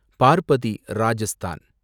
Parbati, Rajasthan